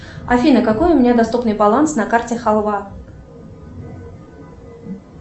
афина какой у меня доступный баланс на карте халва